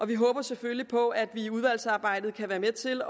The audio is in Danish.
vi håber selvfølgelig på at vi under udvalgsarbejdet kan være med til